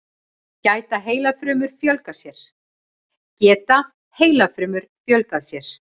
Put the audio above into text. Geta heilafrumur fjölgað sér?